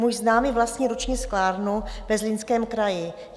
Můj známý vlastní ruční sklárnu ve Zlínském kraji.